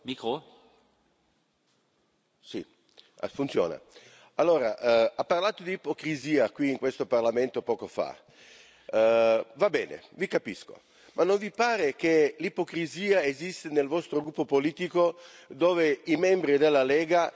Ha parlato di ipocrisia qui in questo Parlamento, poco fa va bene, vi capisco! Ma non vi pare che l'ipocrisia esiste nel vostro gruppo politico, dove i membri della Lega, la signora Beghin del Movimento 5 Stelle, che sono al governo italiano, oggi non ci sono.